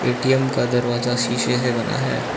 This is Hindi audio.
ए_टी_एम का दरवाजा शीशे से बना है।